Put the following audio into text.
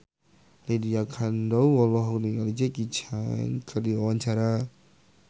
Lydia Kandou olohok ningali Jackie Chan keur diwawancara